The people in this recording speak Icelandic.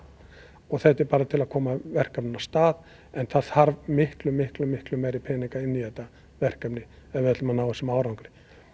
og þetta er bara til að koma verkefninu af stað en það þarf miklu miklu miklu meiri pening inn í þetta verkefni ef við ætlum að ná þessum árangri